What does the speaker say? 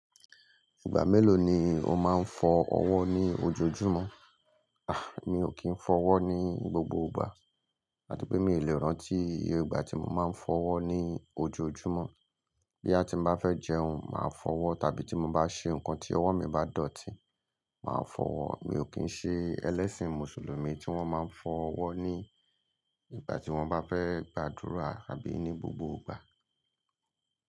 Ìgbà mélòó ni o máa ń fọ ọwọ́ ní ojoojúmọ́? A! Mi ò kì n fọ wọ́ ní gbogbo gbà. Láti pé mi lè rántí igba tí mo máa ń fọ́wọ́ ni ojoojúmọ́. Boya ti ń bá fẹ́ jẹun, màá fọwọ́ tàbí tí mo bá ṣe nǹkan tí ọwọ́ mi bá dọ̀tí, màá fọwọ́. Mi ò kì í ṣe ẹlẹ́sìn mùsùlùmí tí wọ́n máa ń fọ ọwọ́ ní ìgbà tí wọ́n bá fẹ́ gbàdúrà àbí ní gbogbo ìgbà.